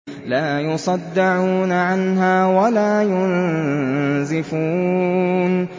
لَّا يُصَدَّعُونَ عَنْهَا وَلَا يُنزِفُونَ